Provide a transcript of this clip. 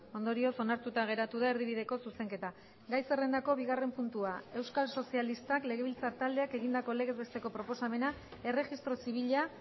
ondorioz onartuta geratu da erdibideko zuzenketa gai zerrendako bigarren puntua euskal sozialistak legebiltzar taldeak egindako legez besteko proposamena erregistro zibila